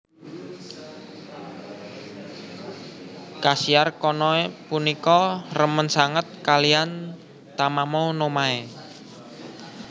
Kasiar Konoe punika remen sanget kalihan Tamamo no Mae